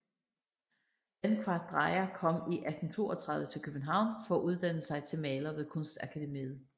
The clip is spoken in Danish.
Dankvart Dreyer kom i 1832 til København for at uddanne sig til maler ved Kunstakademiet